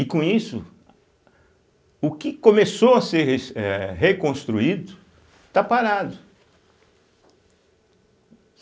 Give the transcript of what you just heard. E com isso o que começou a ser res eh reconstruído, está parado.